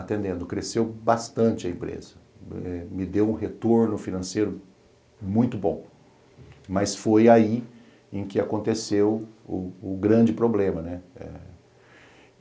atendendo, cresceu bastante a empresa, me deu um retorno financeiro muito bom, mas foi aí em que aconteceu o o grande problema, né?